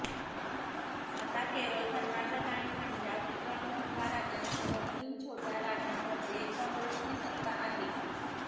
आता केवळ कर्नाटक आणि पंजाब या मोठ्या राज्यांसह तीन छोट्या राज्यांमध्ये काँग्रेसची सत्ता आहे